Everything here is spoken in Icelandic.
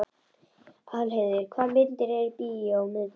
Aðalheiður, hvaða myndir eru í bíó á miðvikudaginn?